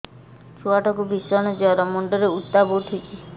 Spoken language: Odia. ଛୁଆ ଟା କୁ ଭିଷଣ ଜର ମୁଣ୍ଡ ରେ ଉତ୍ତାପ ଉଠୁଛି